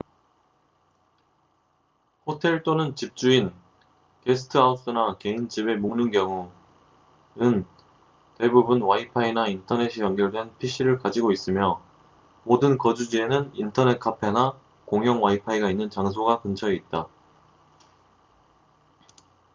호텔 또는 집주인게스트하우스나 개인 집에 묵는 경우은 대부분 와이파이나 인터넷이 연결된 pc를 가지고 있으며 모든 거주지에는 인터넷 카페나 공용 와이파이가 있는 장소가 근처에 있다